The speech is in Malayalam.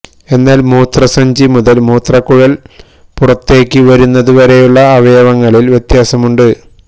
എന്നാല് മൂത്രസഞ്ചി മുതല് മൂത്രക്കുഴൽ പുറത്തേക്ക് വരുന്നതു വരെയുള്ള അവയവങ്ങളില് വ്യത്യാസമുണ്ട്